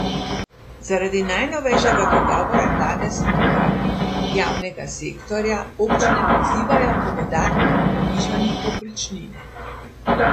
Zaradi najnovejšega dogovora vlade s sindikati javnega sektorja občine pozivajo k dodatnemu povišanju povprečnine.